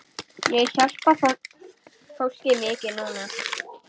Ég hjálpa fólki mikið núna.